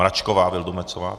Mračková Vildumetzová.